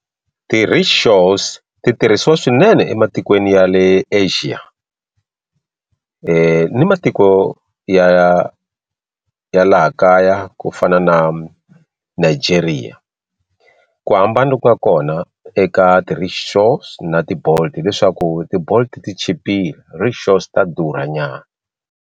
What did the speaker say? Ti-Rickshaws ti tirhisiwa swinene ematikweni ya le Asia ni matiko ya ya laha kaya ku fana na na Nigeria ku hambana loku nga kona eka ti-Rickshaws na ti Bolt hileswaku tibolt ti chipile Rickshaws ta durha nyana.